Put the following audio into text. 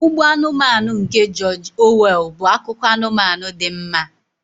Ugbo Anụmanụ nke George Orwell bụ akụkọ anụmanụ dị mma.